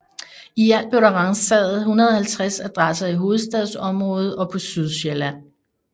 I alt blev der ransaget 150 adresser i hovedstadsområdet og på Sydsjælland